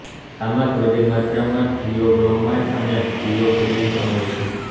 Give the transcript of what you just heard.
ચામાં થોડી માત્રામાં થીઓબ્રોમાઇન અને થીઓફીલીન પણ હોય છે